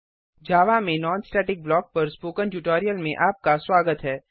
javaजावा में non static block पर spoken tutorial में आपका स्वागत है